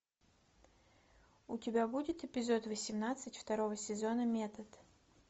у тебя будет эпизод восемнадцать второго сезона метод